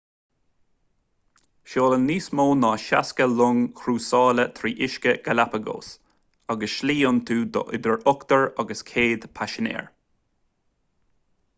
seolann níos mó ná 60 long chrúsála trí uiscí galapagos agus slí iontu do idir ochtar agus 100 paisinéir